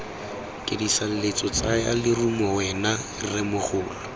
kedisaletse tsaya lerumo wena rremogolo